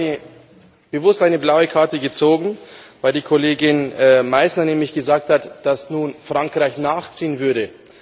Ich habe bewusst eine blaue Karte gezogen, weil die Kollegin Meissner nämlich gesagt hat, dass nun Frankreich nachziehen würde.